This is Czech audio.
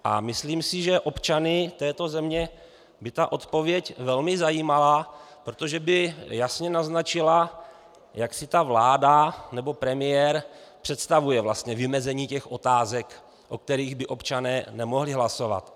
A myslím si, že občany této země by ta odpověď velmi zajímala, protože by jasně naznačila, jak si ta vláda nebo premiér představují vymezení těch otázek, o kterých by občané nemohli hlasovat.